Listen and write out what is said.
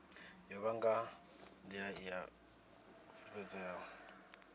yavho nga nḓila i fulufhedzeaho